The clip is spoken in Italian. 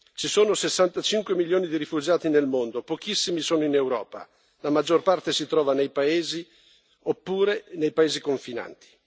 Ci sono 65 milioni di rifugiati nel mondo, pochissimi sono in Europa, la maggior parte si trova nei paesi terzi oppure nei paesi confinanti.